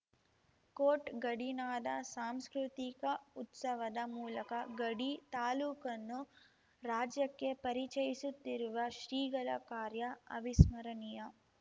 coat ಗಡಿನಾಡ ಸಾಂಸ್ಕೃತಿಕ ಉತ್ಸವದ ಮೂಲಕ ಗಡಿ ತಾಲೂಕನ್ನು ರಾಜ್ಯಕ್ಕೆ ಪರಿಚಯಿಸುತ್ತಿರುವ ಶ್ರೀಗಳ ಕಾರ್ಯ ಅವಿಸ್ಮರಣೀಯ